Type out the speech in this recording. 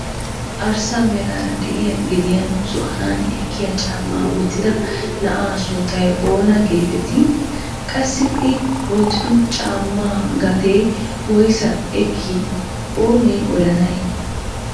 Arssa meraara de'iyaa gediyaan zo''anaani ekkiyaa caammaa wottida na'aa sunttay oona getettii? Qassi i woottido caammaa gatee woyssaa ekkii oonee odanay?